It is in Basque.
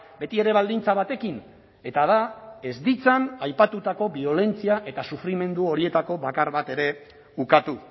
betiere baldintza batekin eta da ez ditzan aipatutako biolentzia eta sufrimendu horietako bakar bat ere ukatu